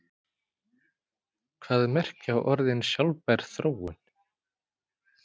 Hvað merkja orðin sjálfbær þróun?